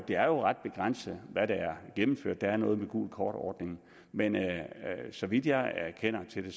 det er ret begrænset hvad der er gennemført der er noget med gult kort ordning men så vidt jeg kender til det